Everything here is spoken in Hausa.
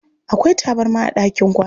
Akwai tabarma a ɗakin kwana.